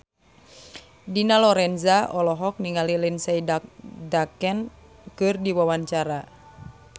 Dina Lorenza olohok ningali Lindsay Ducan keur diwawancara